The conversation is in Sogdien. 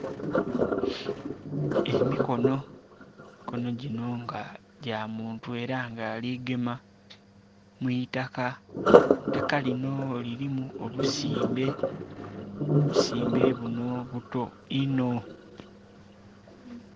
Emikono, emikono dhino nga dha muntu nga era ari gema mwitaka eitaka lino lirimu obusimbe, obusimbe buno buto inho